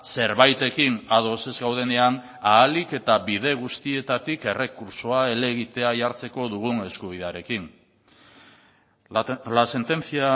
zerbaitekin ados ez gaudenean ahalik eta bide guztietatik errekurtsoa helegitea jartzeko dugun eskubidearekin la sentencia